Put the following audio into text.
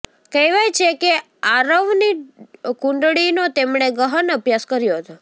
કહેવાય છે કે આરવની કુંડળીનો તેમણે ગહન અભ્યાસ કર્યો હતો